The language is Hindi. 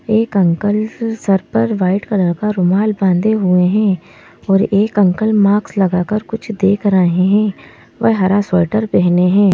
एक अंकल सर पर वाइट कलर का रुमाल बांधे हुए हैं और एक अंकल मास्क लगाकर कुछ देख रहे हैं वह हरा स्वेटर पहने हैं।